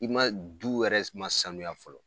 I ma du wɛrɛ s ma sanuya fɔlɔ.